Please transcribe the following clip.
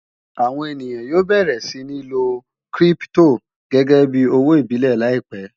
àwọn èyán yóò bẹrẹ sí ní ló kírìpitò gégé bí òwò ìbílè láìpé